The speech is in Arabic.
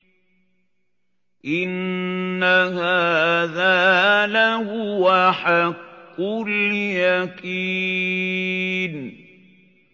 إِنَّ هَٰذَا لَهُوَ حَقُّ الْيَقِينِ